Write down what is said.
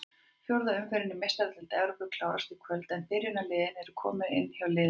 Fjórða umferðin í Meistaradeild Evrópu klárast í kvöld en byrjunarliðin eru komin inn hjá liðunum.